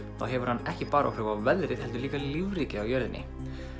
þá hefur hann ekki bara áhrif á veðrið heldur líka á lífríkið á jörðinni